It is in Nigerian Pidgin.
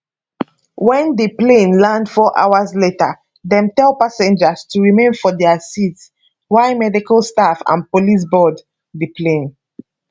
wen di plane land four hours later dem tell passengers to remain for dia seats while medical staff and police board di plane